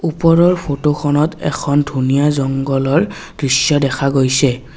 ওপৰৰ ফটোখনত এখন ধুনীয়া জংগলৰ দৃশ্য দেখা গৈছে।